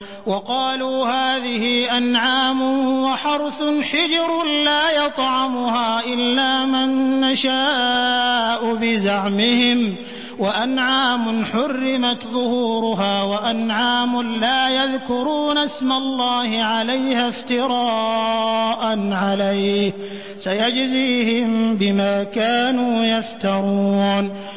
وَقَالُوا هَٰذِهِ أَنْعَامٌ وَحَرْثٌ حِجْرٌ لَّا يَطْعَمُهَا إِلَّا مَن نَّشَاءُ بِزَعْمِهِمْ وَأَنْعَامٌ حُرِّمَتْ ظُهُورُهَا وَأَنْعَامٌ لَّا يَذْكُرُونَ اسْمَ اللَّهِ عَلَيْهَا افْتِرَاءً عَلَيْهِ ۚ سَيَجْزِيهِم بِمَا كَانُوا يَفْتَرُونَ